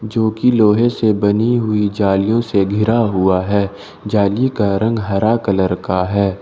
जोकि लोहे से बनी हुई जालियों से गिरा हुआ है जाली का रंग हरा कलर का है ।